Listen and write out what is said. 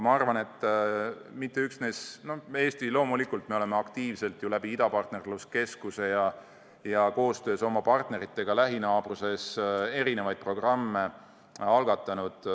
Eestis me oleme loomulikult aktiivselt idapartnerluse keskuse kaudu ja koostöös oma partneritega lähinaabruses erinevaid programme algatanud.